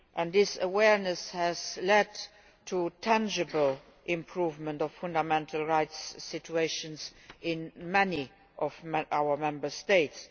This awareness has led to a tangible improvement in the fundamental rights situation in many of our Member States.